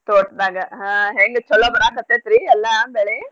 ತೋಟ್ದಾಗ ಹಾ ಹೆಂಗ್ ಚೊಲೋ ಬರಾಕ್ಕತೈತ್ರಿ ಎಲ್ಲಾ ಬೆಳೆ?